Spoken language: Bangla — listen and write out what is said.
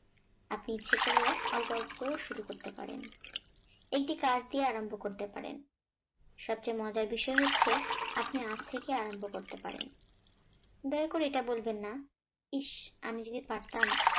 আপনি ইচ্ছে করলেও অল্প অল্প করে শুরু করতে পারেন। এটি কার দিয়ে আরম্ভ করতে পারেন সবচেয়ে মজার বিষয় হচ্ছে আপনি আজ থেকে আরম্ভ করতে পারেন দয়া করে এটা বলবেন না ইস আমি যদি পারতাম